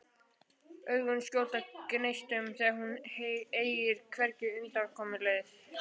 Augun skjóta gneistum þegar hún eygir hvergi undankomuleið.